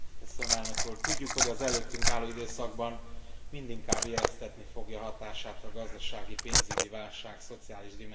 Tudjuk, hogy az előttünk álló időszakban mindinkább éreztetni fogja hatását a gazdasági, pénzügyi válság szociális dimenziója.